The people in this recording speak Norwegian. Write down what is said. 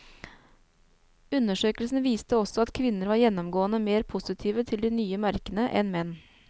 Undersøkelsen viste også at kvinner var gjennomgående mer positive til de nye merkene enn menn.